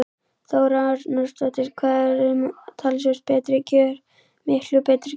Þóra Arnórsdóttir: Hvað eru umtalsvert betri kjör miklu betri kjör?